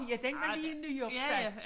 Ja den der lige er nyopsat